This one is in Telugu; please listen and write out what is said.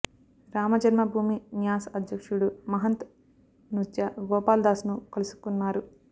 రామ జన్మభూమి న్యాస్ అధ్యక్షుడు మహంత్ నృత్య గోపాల్ దాస్ ను కలుసుకున్నారు